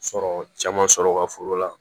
Sɔrɔ caman sɔrɔ u ka foro la